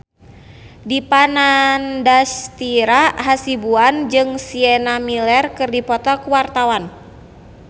Dipa Nandastyra Hasibuan jeung Sienna Miller keur dipoto ku wartawan